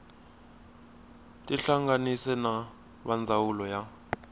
tihlanganise na va ndzawulo ya